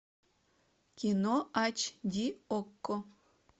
кино ач ди окко